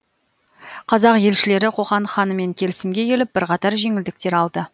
қазақ елшілері қоқан ханымен келісімге келіп бірқатар жеңілдіктер алды